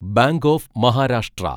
bank of Maharashtra